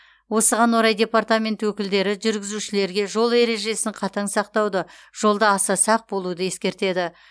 осыған орай департамент өкілдері жүргізушілерге жол ережесін қатаң сақтауды жолда аса сақ болуды ескертеді